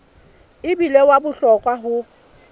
e bile wa bohlokwa ho